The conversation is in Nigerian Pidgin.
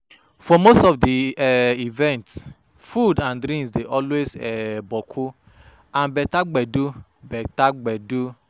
For most of di um events food and drinks dey always um boku and beter gbedu beter gbedu